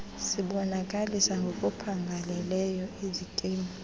sibonakalisa ngokuphangaleleyo izikimu